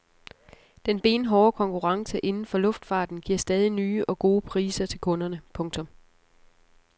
Den benhårde konkurrence inden for luftfarten giver stadig nye og gode priser til kunderne. punktum